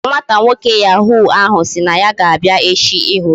Ee, nwata nwoke yahu ahụ sị na ya ga-abịa echi ịhụ gị